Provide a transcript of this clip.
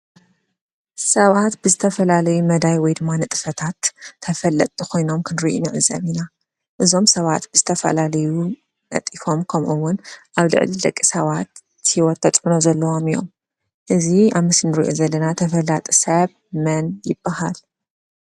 ሰባት ብዝተፈላለየ መዳይ ወይ ንጥፈታት ተፈለጥቲ ኮይኖም ንሪኢ ንዕዘብ ኢና። እዞም ሰባት ዝተፈላለዩ ነጢፎም ከምኡ እውን ኣብ ልዕሊ ደቂ ሰባት ሂወት ተፅዕኖ ዘለዎም እዮም። እዚ ኣብ ምስሊ እንሪኦ ዘለና ተፈላጢ ሰብ መን ይበሃል ?